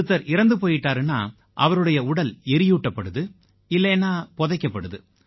ஒருத்தர் இறந்து போயிட்டாருன்னா அவருடைய உடல் எரியூட்டப்படுது இல்லைன்னா புதைக்கப்படுது